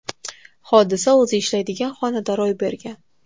Hodisa o‘zi ishlaydigan xonada ro‘y bergan.